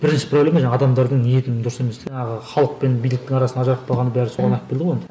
бірінші проблема жаңа адамдардың ниетінің дұрыс еместігі а халық пен биліктің арасын ажыратпағанның бәрі соған алып келді ғой енді